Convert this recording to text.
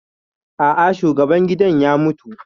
A'a, shugaban gidan ya mutu